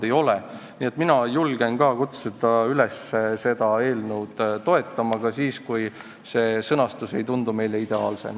Nii et minagi julgen kutsuda üles seda eelnõu toetama ka siis, kui sõnastus ei tundu ideaalsena.